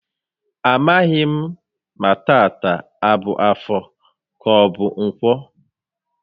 A maghị m ma tata a bụ Afọ ka ọbụ Ǹkwọ